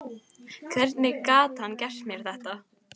Hvernig gat hann gert mér þetta?